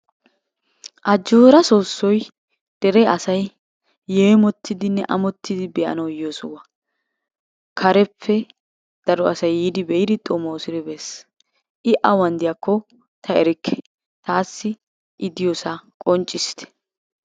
Ajjoora soossoy dere asay yeemottidinne amottidi be'anawu yiyo sohuwa. Kareppe daro asay yiidi be'idi xomoosodi bees. I awan diyakko ta erikke. Taassi I diyosaa qonccissite.